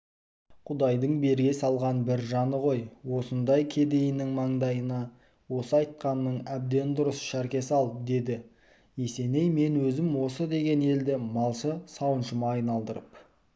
құдайдың бере салған бір жаны ғой осындай кедейінің маңдайына осы айтқаның әбден дұрыс шәрке сал деді есеней мен өзім осы деген елді малшы-сауыншыма айналдырып